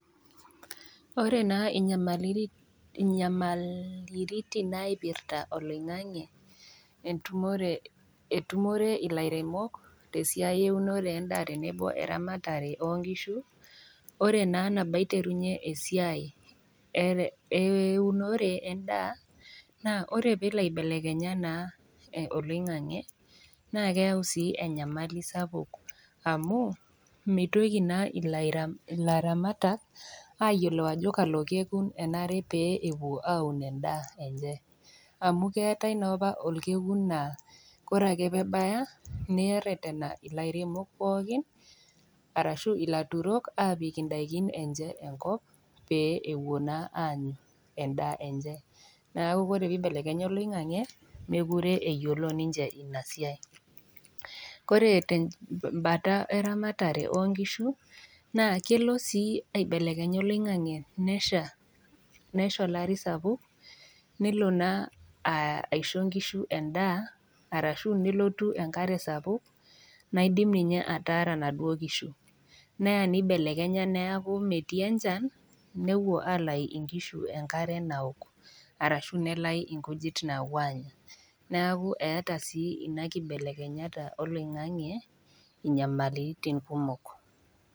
Ore inyamaliritin naipirita oloing'ang'e etumore ilairemok tesiai eunore endaa tenebo we eramatare oo nkishu, ore naa nabo aiterunye esiai eunore endaa, naa ore pee elo aibelekenya naa oloing'ang'e, naa keyau sii enyamali sapuk amu, meitoki naa ilairamatak ayiolou ajo kalo kekun enare pee eun endaa enye, amu keatai naa opa olkekun naa ore ake pee ebaya, neretena ilairemok pookin arashu ilaturok aapik endaa enye enkop pee epuo naa aanyu endaa enye, neaku ore pee eibelekenya oloing'ang'e nemekure eyiolo ninche Ina siai. Ore te mbata eramatare oo nkishu, naa kelo sii aibelekenya oloing'ang'e nesha olari sapuk, nelo naa aisho inkishu endaa arashu nelotu enkare sapuk naidim ninye ataara inaduo kishu, neya neibelekenya neaku metii enchan, nepuo alayu inkishu enkare naok, arashu nelayu inkujit naapuo aanya, neaku eata sii Ina keibelekenya oloing'ang'e inyamaliritin kumok.